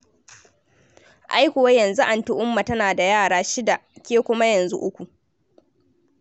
Ai kuwa yanzu Anti Umma tana da yara shida ke kuma yanzu uku.